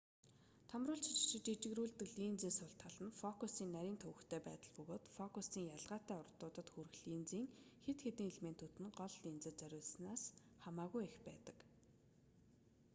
томруулж жижигрүүлдэг линзийн сул тал нь фокусын нарийн төвөгтэй байдал бөгөөд фокусын ялгаатай уртуудад хүрэх линзийн хэд хэдэн элементүүд нь гол линзэд зориулснаас хамаагүй их байдаг